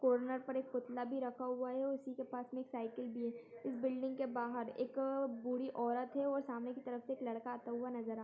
नट पर एक पुतला भी रखा हुआ है उसी के पास में एक साइकिल भी है इस बिल्डिंग के बाहर एक बूढ़ी औरत है और सामने के तरफ एक लड़का आते हुए नजर आ --